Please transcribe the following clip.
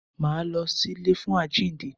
Máa lọ sí ilé fún àjínde.